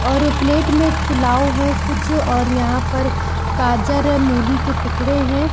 और प्लेट मैं पुलाव है कुछ और यहाँ पर गाजर अ मूली के टुकड़े हैं।